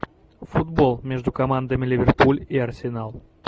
футбол между командами ливерпуль и арсенал